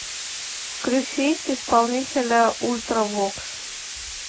включить исполнителя ультравокс